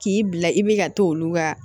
K'i bila i bɛ ka t'olu ka